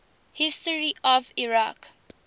history of iraq